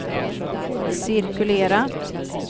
cirkulera